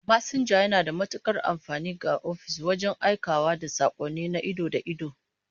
Masinja yana da matukar amfani ga ofis wajen aikawa da sakonni na ido da ido